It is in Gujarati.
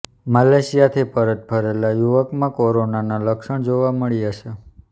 મલેશિયાથી પરત ફરેલા યુવકમાં કોરોનાના લક્ષ્ણ જોવા મળ્યાં છે